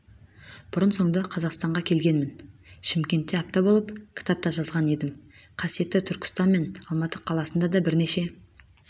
бұрын-соңды қазақстанға келгенмін шымкентте апта болып кітап та жазған едім қасиетті түркістан мен алматы қаласында дабірнеше